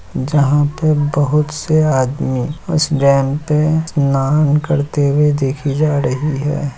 जहाँ पे बहुत से आदमी इस डैम पे स्नान करते हुए देखे जा रहे है।